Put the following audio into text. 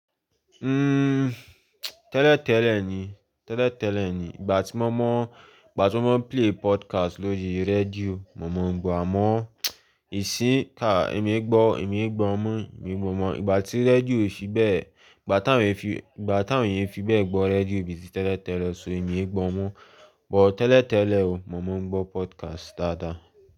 Uhm, tẹ́lẹ̀tẹ́lẹ̀ ni, tẹ́lẹ̀tẹ́lẹ̀ ni. Ìgbà tí mo mọ̀, ìgbà tí wọ́n play podcast lórí rédíò, mo mọ̀ ńgbọ̀ àmọ́ ìsíka èmi gbọ́, èmi gbọ́ mọ, mo gbọ́ mọ̀. Ìgbà tí rédíò fi bẹ́ẹ̀, ìgbà tá ń fi, ìgbà táwọn yẹn fi bẹ́ẹ̀ gbọ́ rédíò bíi tí tẹ́lẹ̀tẹ́lẹ̀, ṣóò ẹmi e gbọ́ mọ. Bọ̀ tẹ́lẹ̀tẹ́lẹ̀ ò, mo mọ̀ ń gbọ́ podcast dáadáa.